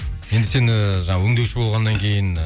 енді сен ііі жаңағы өңдеуші болғаннан кейін